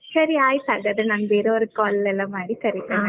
ಸರಿ ಆಯ್ತ್ ಹಾಗಾದ್ರೆ. ನಾನ್ ಬೇರೆ ಅವ್ರಿಗೆ call ಎಲ್ಲ ಮಾಡಿ ಕರಿತೆನೆ ಆಯ್ತಾ?